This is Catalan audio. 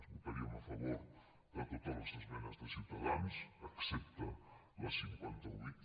votaríem a favor de totes les esmenes de ciutadans excepte la cinquanta vuit